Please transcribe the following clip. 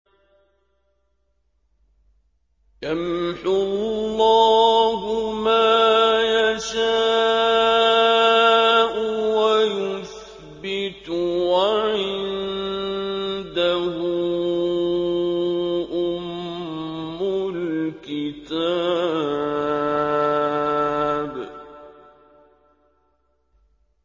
يَمْحُو اللَّهُ مَا يَشَاءُ وَيُثْبِتُ ۖ وَعِندَهُ أُمُّ الْكِتَابِ